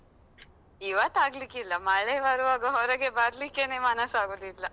ಇವತ್ತಾಗ್ಲಿಕ್ಕಿಲ್ಲ. ಮಳೆ ಬರುವಾಗ ಹೊರಗೆ ಬರ್ಲಿಕ್ಕೆನೆ ಮನಸ್ಸಾಗುದಿಲ್ಲ.